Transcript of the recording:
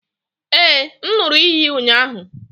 Ee, m ṅụrụ iyi ụnyahụ